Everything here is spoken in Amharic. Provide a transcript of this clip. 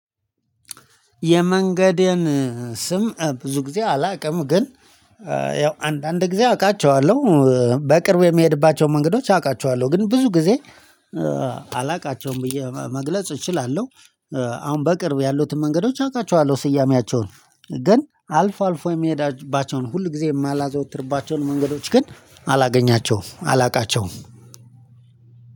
የመንገዴን ስም ብዙ ጊዜ አላውቅም። ግን ያው አንዳንድ ጊዜ አውቃቸዋለሁ በቅርቡ የሚሄድባቸው መንገዶች አውቃቸዋለሁ ግን ብዙ ጊዜ አላውቃቸውም ብዬ መግለጽ እችላለሁ። አሁን በቅርብ ያሉትን መንገዶች አውቃቸዋለሁ። ስያሜያቸውን ግን አልፎ አልፎ የምሄድባቸውን ሁል ጊዜ የማላዘወትርባቸውን መንገዶች ግን አላገኛቸውም አላውቃቸውም።